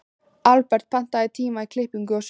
Albert, pantaðu tíma í klippingu á sunnudaginn.